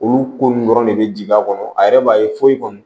Olu ko nunnu dɔrɔn ne be jigin a kɔnɔ a yɛrɛ b'a ye foyi kɔni